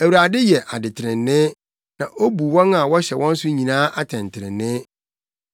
Awurade yɛ adetrenee, na obu wɔn a wɔhyɛ wɔn so nyinaa atɛntrenee.